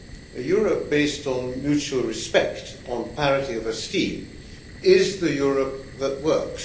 A Europe based on mutual respect, on parity of esteem, is the Europe that works.